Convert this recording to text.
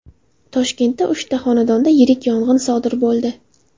Toshkentda uchta xonadonda yirik yong‘in sodir bo‘ldi.